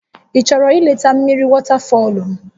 Ị chọrọ ileta mmiri wọtafọlụ?